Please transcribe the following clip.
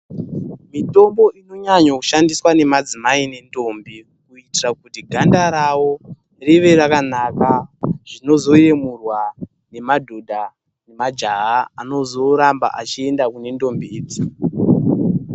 Mitombo inonyanyoshandiswa nemadzimai nendombi kuitira kuti ganda ravo rive rakanaka, zvinozoyemurwa nemadhodha nemajaha anozoramba achienda kune ndombi idzi.